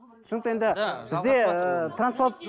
түсінікті енді бізде ыыы